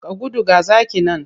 Ka gudu! ga zaki nan.